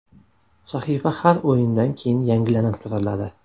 Sahifa har o‘yindan keyin yangilanib turiladi.